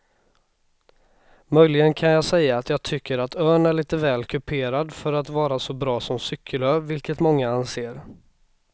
Möjligen kan jag säga att jag tycker att ön är lite väl kuperad för att vara så bra som cykelö vilket många anser.